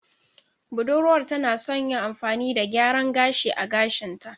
Budurwar tana son yin amfani da gyaran gashi a gashinta.